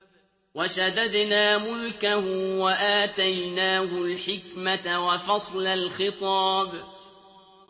وَشَدَدْنَا مُلْكَهُ وَآتَيْنَاهُ الْحِكْمَةَ وَفَصْلَ الْخِطَابِ